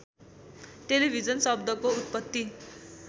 television शब्दको उत्पत्ति